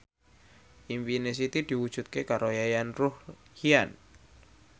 impine Siti diwujudke karo Yayan Ruhlan